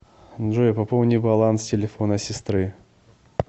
джой пополни баланс телефона сестры